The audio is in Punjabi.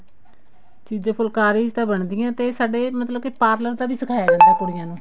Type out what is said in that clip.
ਚੀਜ਼ਾਂ ਫੁਲਕਾਰੀ ਚ ਤਾਂ ਬਣਦੀਆਂ ਤੇ ਸਾਡੇ ਮਤਲਬ ਕੇ parlor ਦਾ ਵੀ ਸਿਖਾਇਆ ਜਾਂਦਾ ਕੁੜੀਆਂ ਨੂੰ